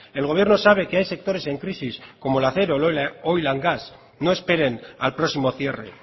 el gobierno sabe que hay sectores en crisis como el acero oil gas no esperen al próximo cierre